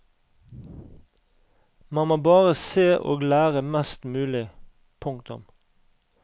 Man må bare se og lære mest mulig. punktum